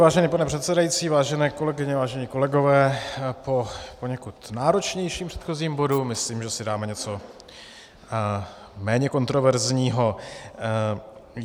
Vážený pane předsedající, vážené kolegyně, vážení kolegové, po poněkud náročnějším předchozím bodu myslím, že si dáme něco méně kontroverzního.